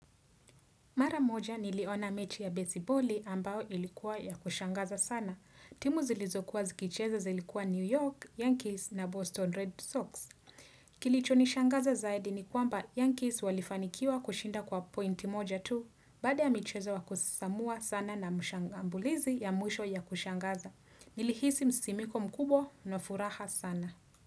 Mara moja, niliona mechi ya besiboli ambao ilikuwa ya kushangaza sana. Timu zilizokuwa zikicheza zilikuwa New York, Yankees na Boston Red Sox. Kilicho nishangaza zaidi ni kwamba Yankees walifanikiwa kushinda kwa pointi moja tu, baada ya michezo wa kusisimua sana na mshangambulizi ya mwisho ya kushangaza. Nilihisi msisimiko mkubwa na furaha sana.